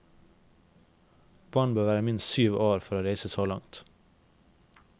Barn bør være minst syv år for å reise så langt.